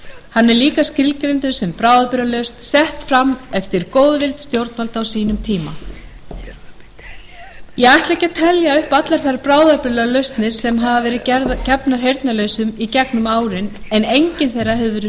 hann er líka skilgreindur sem bráðabirgðalausn sett fram eftir góðvild stjórnvalda á sínum tíma ég ætla ekki að telja upp allar þær bráðabirgðalausnir sem hafa verið gefnar heyrnarlausum í gegnum árin en engin þeirra hefur verið